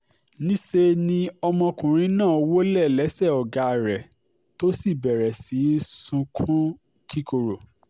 níṣẹ́ ni ọmọkùnrin náà wọlé lẹ́sẹ̀ ọ̀gá rẹ̀ tó sì bẹ̀rẹ̀ sí í sunkún kíkorò